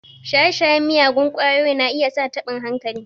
Shaye-shayen miyagun ƙwayoyi na iya sa taɓin hankali.